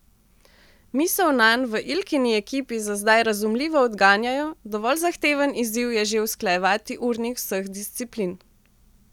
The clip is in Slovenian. Misel nanj v Ilkini ekipi za zdaj razumljivo odganjajo, dovolj zahteven izziv je že usklajevati urnik vseh disciplin.